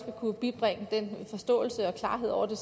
kunne bibringe forståelse og klarhed over det